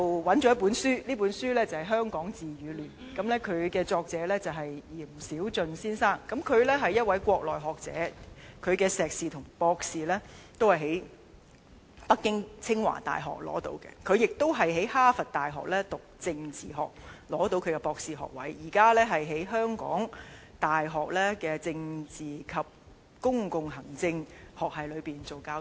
有一本書名為《香港治與亂 ：2047 的政治想像》，作者是閻小駿先生，他是一名國內學者，碩士和博士均在北京清華大學完成，並在哈佛大學取得政治學博士學位，現正在香港大學政治及公共行政學系當副教授。